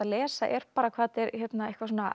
lesa er hvað þetta er eitthvað